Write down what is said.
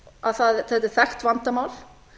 að þetta er þekkt vandamál